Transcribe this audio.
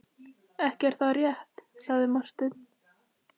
Ekki er það rétt, sagði Marteinn.